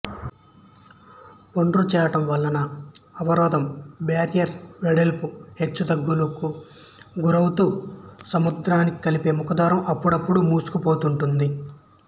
ఒండ్రు చేరడం వలన అవరోధం బ్యారియరు వెడల్పు హెచ్చుతగ్గులకు గురౌతూ సముద్రానికి కలిపే ముఖద్వారం అప్పుడప్పుడూ మూసుకుపోతూ ఉంటుంది